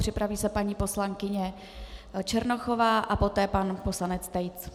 Připraví se paní poslankyně Černochová a poté pan poslanec Tejc.